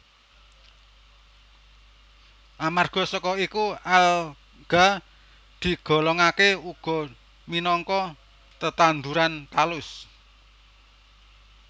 Amarga saka iku alga digolongaké uga minangka tetanduran talus